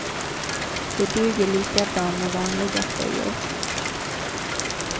Det duger lika bra med vanliga tröjor.